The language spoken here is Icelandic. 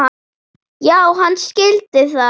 Já, hann skildi það.